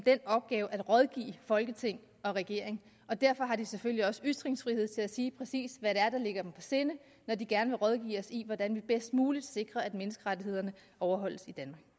den opgave at rådgive folketing og regering derfor har de selvfølgelig også ytringsfrihed til at sige præcis hvad det er der ligger dem på sinde når de gerne vil rådgive os i hvordan vi bedst muligt sikrer at menneskerettighederne overholdes